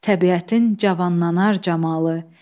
Təbiətin cavanlanar camalı.